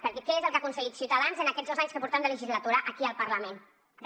perquè què és el que ha aconseguit ciutadans en aquests dos anys que portem de legislatura aquí al parlament re